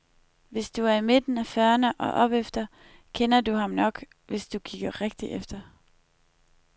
Hvis du er i midten af fyrrene og opefter kender du ham nok, hvis du kigger rigtig efter.